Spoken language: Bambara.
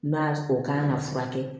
N'a o kan ka furakɛ